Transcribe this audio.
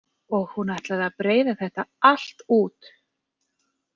Og hún ætlaði að breiða þetta allt út.